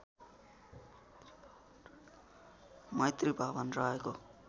मैत्री भवन रहेको